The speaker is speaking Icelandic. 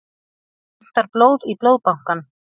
Vantar blóð í Blóðbankann